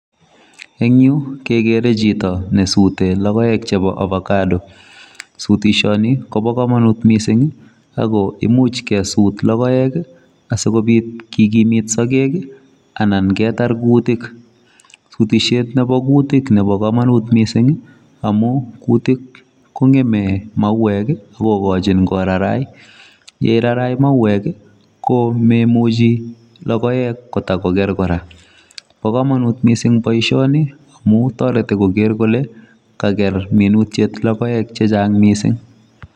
Ing' yu kegeere chito nesute logoek chebo Avocado. Sutisioni kobo komonut miising' ako imuuch kesut logoek asikobit kekimit sagek, anan ketar kuutik. sutisiet nebo kuutik nebo komonut miising' amu kuutik kong'eme mauwek akogoochin korarai. yeirarai mauwek, komemuchi logoek kotakoger kora. Pa komonut miising' boisioni amu toreti kogeer kole kager minutiet logoek chechang' miising.